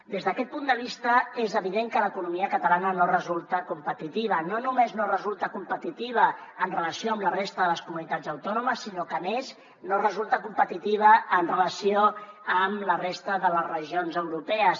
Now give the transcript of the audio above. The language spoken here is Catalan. des d’aquest punt de vista és evident que l’economia catalana no resulta competitiva no només no resulta competitiva en relació amb la resta de les comunitats autònomes sinó que a més no resulta competitiva en relació amb la resta de les regions europees